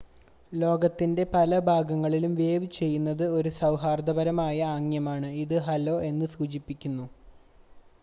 "ലോകത്തിന്റെ പല ഭാഗങ്ങളിലും വേവ് ചെയ്യുന്നത് ഒരു സൗഹാർദ്ദപരമായ ആംഗ്യമാണ് ഇത് "ഹലോ" എന്ന് സൂചിപ്പിക്കുന്നു.